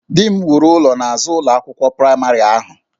Di m wuru ụlọ n'azụ ụlọ akwụkwọ praịmarị ahụ